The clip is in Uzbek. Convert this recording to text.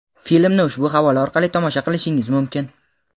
Filmni ushbu havola orqali tomosha qilishingiz mumkin.